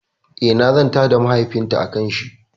Eh, na zanta da mahaifin ta akan shi